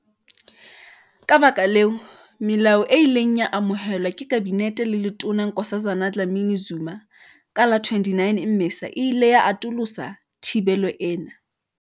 Ka lebaka leo, melao e ileng ya amohelwa ke Kabinete le Letona Nkosazana Dlamini-Zuma ka la 29 Mmesa e ile ya atolosa thibelo ena.